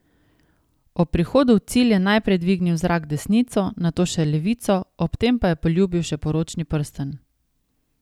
Ob prihodu v cilj je najprej dvignil v zrak desnico, nato še levico ob tem pa je poljubil še poročni prstan.